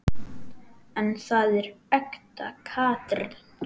En þetta er ekta Katrín.